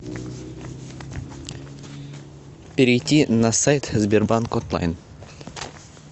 перейти на сайт сбербанк онлайн